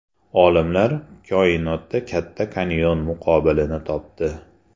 Olimlar koinotda Katta kanyon muqobilini topdi.